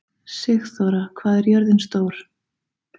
Sigþóra, hvað er jörðin stór?